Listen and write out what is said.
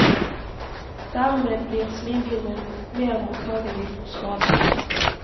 Dermed blir slimhinnen mer mottagelig for skade.